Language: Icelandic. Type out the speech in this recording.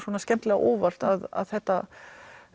skemmtilega á óvart að þetta